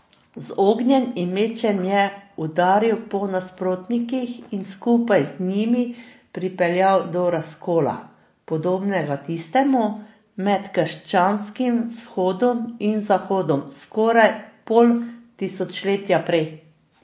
Z ognjem in mečem je udaril po nasprotnikih in skupaj z njimi pripeljal do razkola, podobnega tistemu med krščanskim vzhodom in zahodom skoraj pol tisočletja prej.